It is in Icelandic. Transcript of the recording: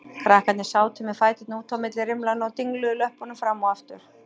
Krakkarnir sátu með fæturna út á milli rimlanna og dingluðu löppunum fram og aftur.